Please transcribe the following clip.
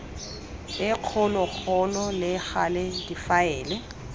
e kgologolo le gale difaele